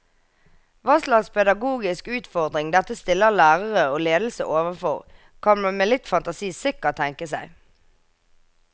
Hva slags pedagogisk utfordring dette stiller lærere og ledelse overfor, kan man med litt fantasi sikkert tenke seg.